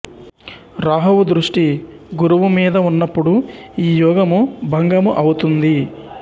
రాహువు దృష్టి గురువు మీద ఉన్నప్పుడు ఈ యోగము భంగము ఔతుంది